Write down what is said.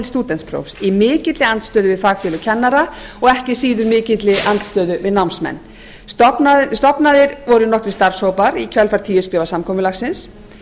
stúdentsprófs í mikilli andstöðu við fagfélög kennara og ekki síður í mikilli andstöðu við námsmenn stofnaðir voru nokkrir starfshópar í kjölfar tíu skrefa samkomulagsins